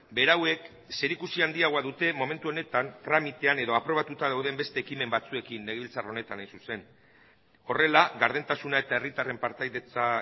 berauek zerikusia handiagoa dute momentu honetan tramitean edo aprobatuta dauden beste ekimen batzuekin legebiltzar honetan hain zuzen horrela gardentasuna eta herritarren partaidetza